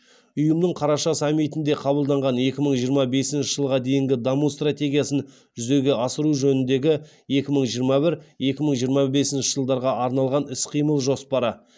ұйымның қараша саммитінде қабылданған екі мың жиырма бесінші жылға дейінгі даму стратегиясын жүзеге асыру жөніндегі екі мың жиырма бір екі мың жиырма бесінші жылдарға арналған іс қимыл жоспары